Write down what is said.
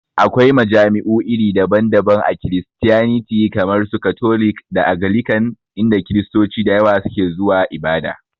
Akwai majami'u iri daban daban a Kiristiyaniti kamar su katolik da agalikan, inda Kiristoci da yawa su ke zuwa ibada